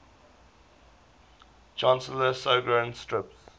chancellor gowron strips